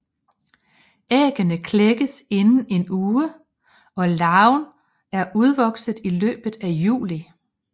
Æggene klækkes inden en uge og larven er udvokset i løbet af juli